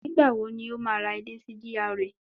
Nígbà wo ni ó máa ra ilé sí GRA